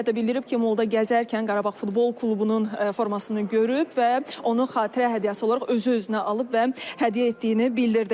Hətta bildirib ki, moolda gəzərkən Qarabağ futbol klubunun formasını görüb və onu xatirə hədiyyəsi olaraq özü özünə alıb və hədiyyə etdiyini bildirdi.